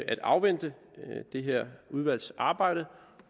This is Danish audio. at afvente det her udvalgs arbejde